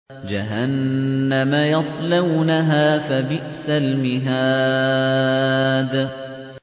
جَهَنَّمَ يَصْلَوْنَهَا فَبِئْسَ الْمِهَادُ